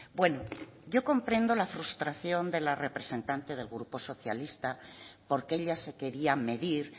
bueno yo comprendo la frustración de la representante del grupo socialista porque ella se quería medir